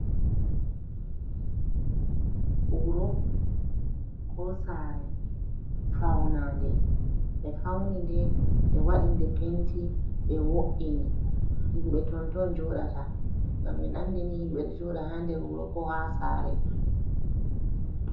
Wuro ko sare faunande, ɓe fauni nde, ɓe waɗi nde penti, ɓe wo’ini, himɓɓe ton ton joɗata ngam en andini himɓɓe ɗo joɗa ha nder wuro, ko ha sare.